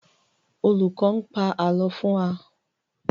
Olùkọ̀ n pa ààlọ́ fún wa